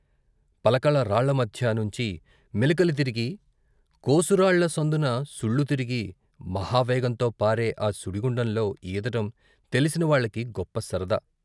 పలకల రాళ్ళ మధ్య నుంచి మెలికలు తిరిగి, కోసురాళ్ళ సందున సుళ్ళు తిరిగి మహా వేగంతో పారే ఆ సుడిగుండంలో ఈదటం తెలిసిన వాళ్ళకి గొప్ప సరదా.